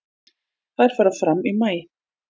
Þær fara fram í maí.